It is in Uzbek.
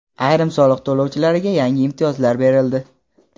Ayrim soliq to‘lovchilarga yangi imtiyozlar berildi.